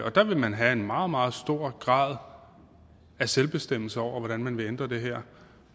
og der vil man have en meget meget stor grad af selvbestemmelse over hvordan man vil ændre det her